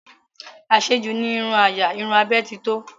Àṣejù ní irun àyà, irun abẹ́ titọ́